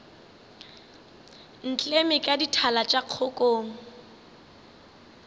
ntleme ka dithala tša kgokong